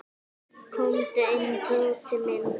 Komdu inn, Tóti minn.